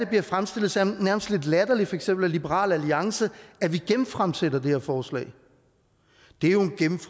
bliver fremstillet som lidt latterligt for eksempel af liberal alliance at vi genfremsætter det her forslag